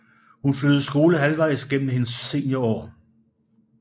Hun flyttede skole halvvejs gennem hendes seniorår